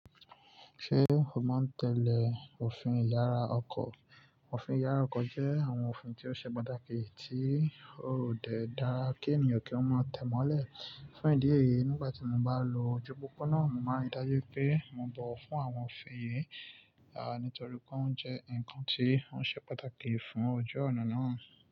Ṣé o ma n tẹ́lẹ̀ òfin ìyára ọkọ̀? Òfin ìyára ọkọ̀ jẹ́ àwọn òfin tí ó ṣe pàtàkì tí ó ò de dára kí ènìyàn kí ọ́ má tẹ́ mọ́lẹ̀. Fún ìdí èyí, nígbà tí mo bá lo ojú pópó náà, mo màá n rí dájú pé mo bọ̀ wọ́n fún àwọn òfin yìí, nítorí pé wón jẹ́ ǹkan tí ó ṣe pàtàkì fún ojú ọ̀nà náà.